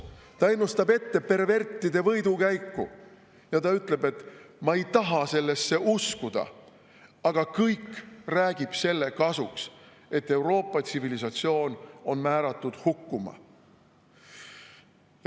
Ta ennustab ette pervertide võidukäiku ja ta ütleb, et ta ei taha sellesse uskuda, aga kõik räägib selle kasuks, et Euroopa tsivilisatsioon on määratud hukkuma.